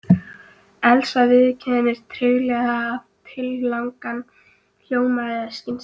Elsa viðurkenndi treglega að tillagan hljómaði skynsamlega.